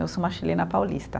Eu sou uma chilena paulista.